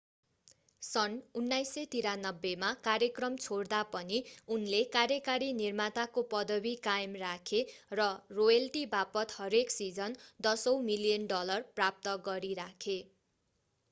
सन् 1993 मा कार्यक्रम छोड्दा पनि उनले कार्यकारी निर्माताको पदवी कायम राखे र रोयल्टी वापत हरेक सिजन दशौँ मिलियन डलर प्राप्त गरिराखे